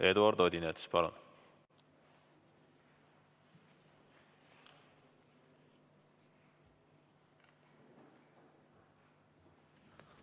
Eduard Odinets, palun!